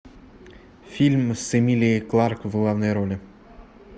фильм с эмилией кларк в главной роли